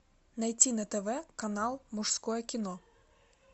найти на тв канал мужское кино